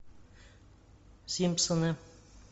симпсоны